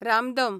रामदम